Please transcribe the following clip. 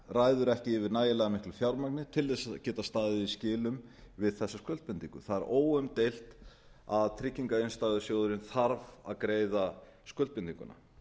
ræður ekki yfir nægilega miklu fjármagni til að geta staðið í skilum við þessa skuldbindingu það er óumdeilt að tryggingarinnstæðusjóðurinn þarf að greiða skuldbindinguna